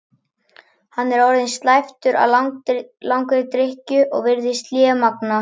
Hann er orðinn slæptur af langri drykkju og virðist lémagna.